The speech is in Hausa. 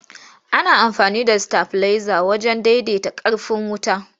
Ana amfani da sitabileza wajen daidaita ƙarfin wuta.